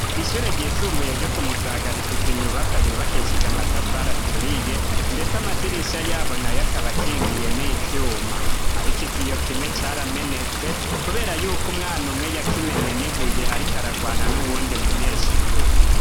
Ishure ryisumbuye ryo ku Musaga rifise inyubakwa yubakishije amatafari aturiye ndetse amadirisha yaho nayo akaba akingiye n'ivyuma ariko ikiyo kimwe caramenetse kubera yuko umwana umwe yakimenye nibuye ariko aragwana n'uwundi munyeshure.